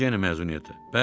Necə yəni məzuniyyətə?